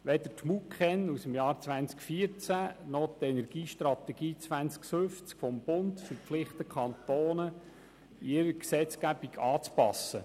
Weder die MuKEn aus dem Jahr 2014 noch die Energiestrategie 2050 des Bundes verpflichtet die Kantone, ihre Gesetzgebung anzupassen.